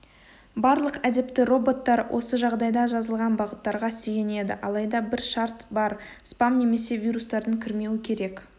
барлық әдепті роботтар осы жағдайда жазылған бағыттарға сүйенеді алайда бір шарт бар спам немесе вирустардың кірмеуі керек